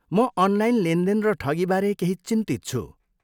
म अनलाइन लेनदेन र ठगीबारे केही चिन्तित छु।